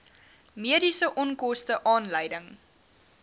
mediese onkoste aanleiding